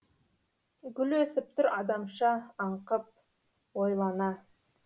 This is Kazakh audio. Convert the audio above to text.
гүл өсіп тұр адамша аңқып ойлана